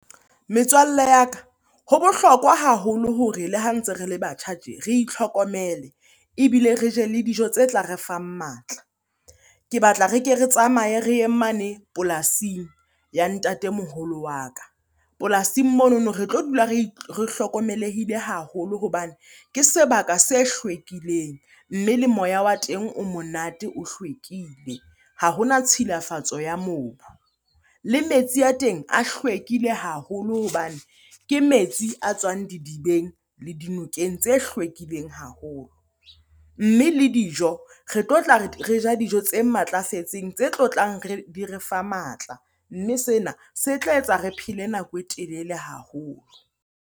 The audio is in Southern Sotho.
Metswalle ya ka, ho bohlokwa haholo hore le ha ntse re le batjha tje re itlhokomele ebile re je le dijo tse tla re fang matla. Ke batla re ke re tsamaye re ye mane polasing ya ntatemoholo wa ka. Polasing monono re tlo dula re hlokomelehile haholo hobane ke sebaka se hlwekileng mme le moya wa teng o monate, o hlwekile. Ha hona tshilafatso ya mobu. Le metsi a teng a hlwekile haholo hobane ke metsi a tswang didibeng le dinokeng tse hlwekileng haholo. Mme le dijo re tlotla re ja dijo tse matlafetseng, tse tlotlang di re fa matla. Mme sena se tla etsa re phele nako e telele haholo.